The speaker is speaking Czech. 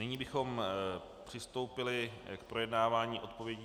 Nyní bychom přistoupili k projednávání odpovědí...